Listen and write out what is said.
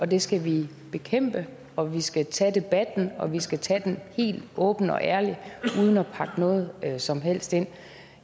det skal vi bekæmpe og vi skal tage debatten og vi skal tage den helt åbent og ærligt uden at pakke noget som helst ind